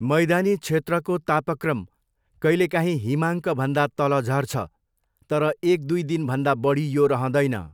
मैदानी क्षेत्रको तापक्रम कहिलेकाहीँ हिमाङ्कभन्दा तल झर्छ, तर एक दुई दिनभन्दा बढी यो रहँदैन।